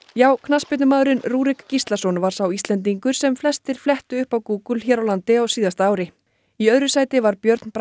já knattspyrnumaðurinn Rúrik Gíslason var sá Íslendingur sem flestir flettu upp á Google hér á landi á síðasta ári í öðru sæti var Björn Bragi